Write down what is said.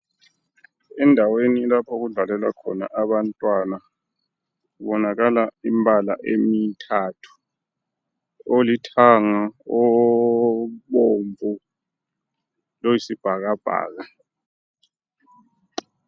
Endaweni lapho okudlalela khona abantwana kubonakala imibala emithathu. Olithanga, obomvu loyi sibhakabhaka.